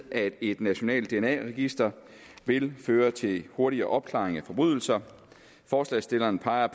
at et nationalt dna register vil føre til hurtigere opklaring af forbrydelser forslagsstillerne peger